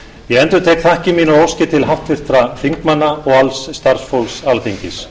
ég endurtek þakkir mínar og óskir til háttvirtra þingmanna og alls starfsfólks alþingis